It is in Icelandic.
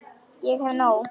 Ég hef nóg.